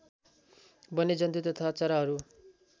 वन्यजन्तु तथा चराहरू